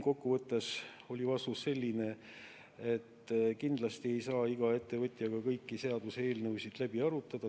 Kokkuvõttes oli vastus selline, et kindlasti ei saa iga ettevõtjaga kõiki seaduseelnõusid läbi arutada.